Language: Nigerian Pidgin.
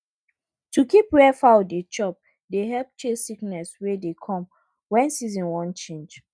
to keep where foul dey chop dey help chase sickness wey dey come when season wan change